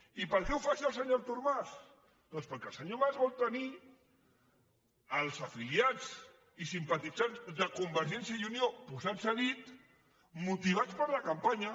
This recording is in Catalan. i per què ho fa això el senyor artur mas doncs per·què el senyor artur mas vol tenir els afiliats i simpa·titzants de convergència i unió posats a dit motivats per a la campanya